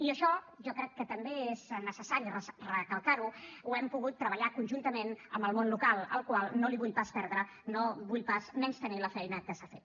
i això jo crec que també és necessari recalcar ho ho hem pogut treballar conjuntament amb el món local al qual no vull pas menystenir la feina que ha fet